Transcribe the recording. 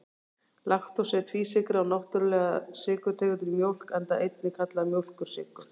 Laktósi er tvísykra og náttúrulega sykurtegundin í mjólk, enda einnig kallaður mjólkursykur.